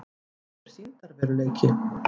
Hvað er sýndarveruleiki?